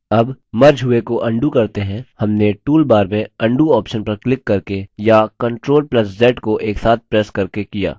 अब मर्ज हुए को undo करते हैं हमने टूलबार में undo ऑप्शन पर क्लिक करके या ctrl + z को एक साथ प्रेस करके किया